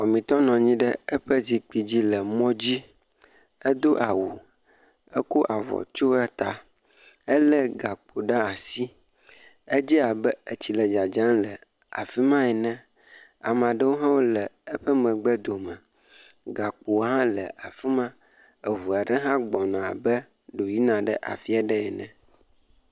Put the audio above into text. Wɔmetɔ nɔnyi ɖe eƒe zikpui dzi le mɔ dzi, edo awu, eko avɔ tsyo eta, elé gakpo ɖe asi, edze abe etsi le dzadzam le afima ene, amaɖowo hã wole eƒe megbe dome, gakpo hã le afima, eʋua ɖe hã gbɔna abe ɖo yi na ɖe afia ɖe ene.